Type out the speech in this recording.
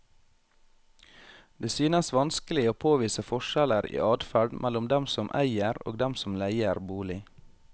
Det synes vanskelig å påvise forskjeller i adferd mellom dem som eier og dem som leier bolig.